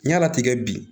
N yala tigɛ bi